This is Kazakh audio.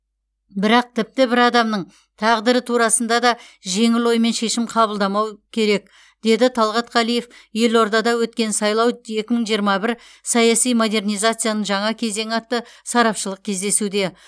бірақ тіпті бір адамның тағдыры турасында да жеңіл оймен шешім қабылдамау керек деді талғат қалиев елордада өткен сайлау екі мың жиырма бір саяси модернизацияның жаңа кезеңі атты сарапшылық кездесуде